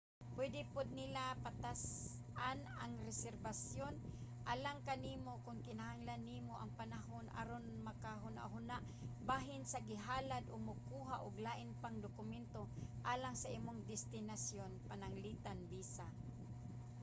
pwede pod nila patas-an ang reserbasyon alang kanimo kon kinahanglan nimo og panahon aron maghunahuna bahin sa gihalad o mokuha ug lain pang dokumento alang sa imong destinasyon pananglitan visa